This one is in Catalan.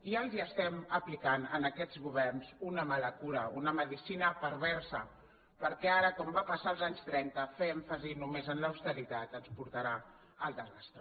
i ja els estem aplicant a aquests governs una mala cura una medecina perversa perquè ara com va passar als anys trenta fer èmfasi només en l’austeritat ens portarà al desastre